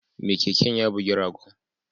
Mai keken ya bugi ragon